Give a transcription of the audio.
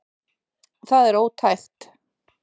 Það er ótækt